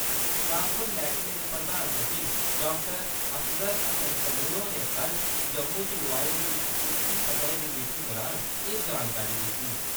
Transport मैह्‌कमे दे प्रधान सचिव डाक्टर असगर हस्सन समून होरें कल जम्मू च लोआई दी इक उच्ची सतह दी मीटिंग दौरान एह् जानकारी दित्ती।